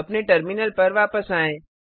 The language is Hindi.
अपने टर्मिनल पर वापस आएँ